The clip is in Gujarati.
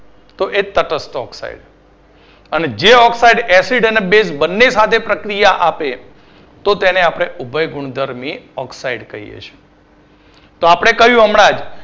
તો એ તટસ્થ Oxide અને જે oxide acid અને base બંને સાથે પ્રક્રિયા આપે તો આપણે તેને ઉભયગુણધર્મી oxide કહીએ છીએ. તો આપણે કહ્યું હમણાં જ